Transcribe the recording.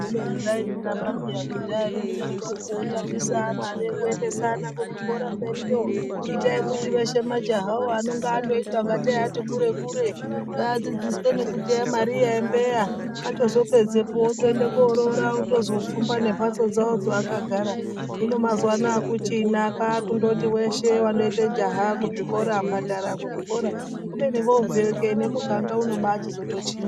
Kubeni vaizviramba piya kudhaya veidaroko kuti kutambisa mare kuendesana kuzvikora mberiyo, itai kuti veshe majahawo anenge andoita ngatei ati kure kure ngaadzidziswe nekuteya mariya embeya atozopedzepo otoende koroora otozopfumba nembatso dzawo dzaakagara hino mazuwa anaya akuchina kwakundoti weshe wandoite jaha kuzvikora kubhadhara kuzvikora kubeni vobveyo kee nemuganga unochizotochinja.